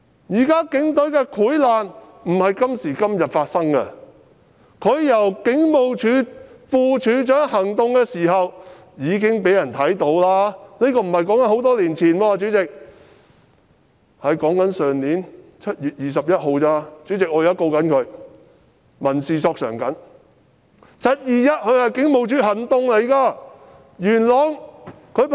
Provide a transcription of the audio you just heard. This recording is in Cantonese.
警隊現在的潰爛不是今時今日才發生，他出任警務處副處長時已被人看到他的問題，這不是很久以前的事，主席，我說的只是去年7月21日——主席，我現正循民事訴訟控告他和向他索償。